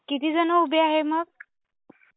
कितीजणं उभे आहे मग?